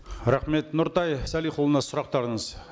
рахмет нұртай салихұлына сұрақтарыңыз